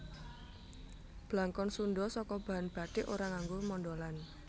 Blangkon Sundha saka bahan bathik ora nganggo mondholan